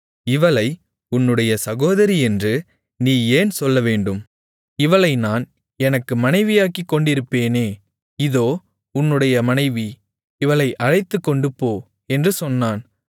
இவளை உன்னுடைய சகோதரி என்று நீ ஏன் சொல்லவேண்டும் இவளை நான் எனக்கு மனைவியாக்கிக் கொண்டிருப்பேனே இதோ உன்னுடைய மனைவி இவளை அழைத்துக்கொண்டுபோ என்று சொன்னான்